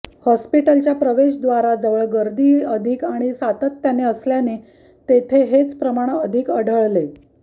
हॉस्पिटलच्या प्रवेशद्वाराजवळ गर्दी अधिक आणि सातत्याने असल्याने तेथे हेच प्रमाण अधिक आढळले